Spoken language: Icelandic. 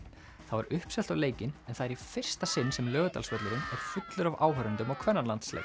það var uppselt á leikinn en það er í fyrsta sinn sem Laugardalsvöllurinn er fullur af áhorfendum á